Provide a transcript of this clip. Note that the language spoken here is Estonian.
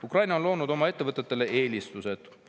Ukraina on loonud oma ettevõtetele eelistused.